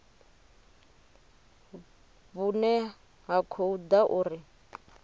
vhune ha khou ḓa uri